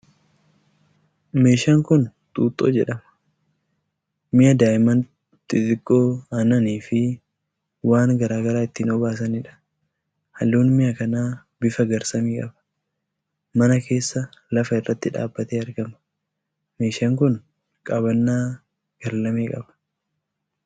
Meeshaan kun xuuxxoo jedhama. Mi'a daa'imman xixiqqoo aannanii fi waan gara garaa ittiin obaasanidha. Halluun mi'a kanaa bifa garsamii qaba. Mana keessa lafa irratti dhaabatee argama. Meeshaan kun qabannaa garlamee qaba.